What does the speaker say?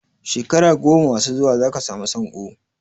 Shekara goma masu zuwa za ka samu sanko.